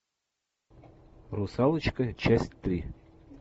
русалочка часть три